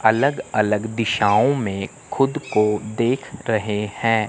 अलग अलग दिशाओं में खुद को देख रहे हैं।